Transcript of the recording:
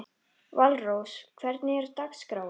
Valrós, hvernig er dagskráin?